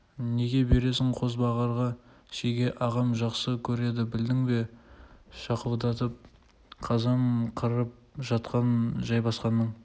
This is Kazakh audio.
неге бересің қозбағарға шеге ағам жақсы көреді білдің бе шақырлатып қазан қырып жатқан жайбасқанның